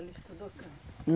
Ela estudou canto?